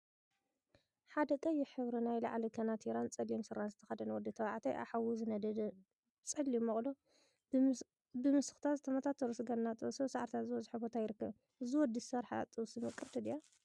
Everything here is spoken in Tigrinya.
ሓደ ቀይሕ ሕብሪ ናይ ላዕሊ ከናቲራን ፀሊም ስረን ዝተከደነ ወዲ ተባዕታየ አብ ሓዊ ዝነደደ ፀሊም መቅሎ ብምስክታት ዝተመታተሩ ስጋ እናጠበሰ አብ ሳዕሪታት ዝበዝሖ ቦታ ይርከብ፡፡ እዚ ወዲ ዝሰርሓ ጥብሲ ምቅርቲ ድያ?